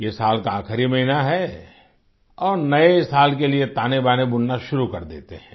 ये साल का आखिरी महीना है और नए साल के लिए तानेबाने बुनना शुरू कर देते हैं